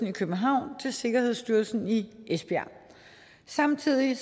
i københavn til sikkerhedsstyrelsen i esbjerg samtidig